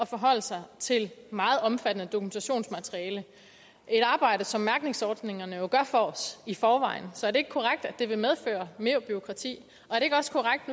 forholde sig til meget omfattende dokumentationsmateriale et arbejde som mærkningsordningerne jo gør for os i forvejen så er det ikke korrekt at det vil medføre mere bureaukrati er det ikke også korrekt